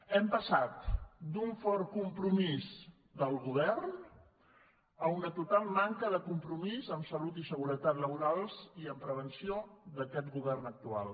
hem passat d’un fort compromís del govern a una total manca de compromís en salut i seguretat laborals i en prevenció d’aquest govern actual